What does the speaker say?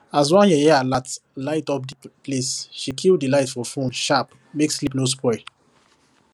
as one yeye alert light up the place she kill the light for phone sharp make sleep no spoil